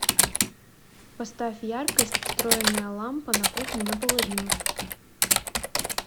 поставь яркость встроенная лампа на кухне на половину